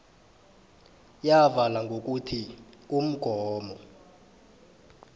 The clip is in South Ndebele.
yavala ngokuthi umgomo